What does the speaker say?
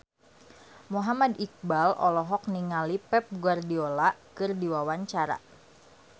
Muhammad Iqbal olohok ningali Pep Guardiola keur diwawancara